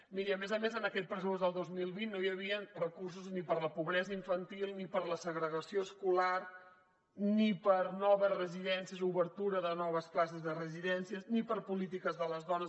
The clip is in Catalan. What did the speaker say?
miri a més a més en aquest pressupost del dos mil vint no hi havien recursos ni per a la pobresa infantil ni per a la segregació escolar ni per a noves residències o obertura de noves places de residències ni per a polítiques de les dones